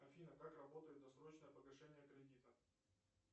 афина как работает досрочное погашение кредита